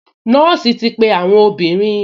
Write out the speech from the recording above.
Nọ́ọ̀sì ti pe àwọn obìnrin